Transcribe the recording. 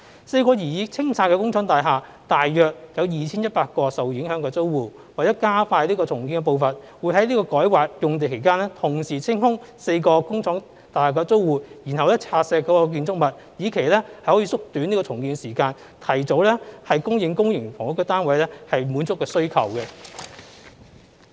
四幢擬清拆的工廠大廈大約有 2,100 個受影響的租戶，為了加快重建的步伐，會在改劃用地的期間，同時清空4個工廠大廈的租戶，然後拆卸建築物，以期縮短重建時間，提早供應公營房屋單位，滿足需求。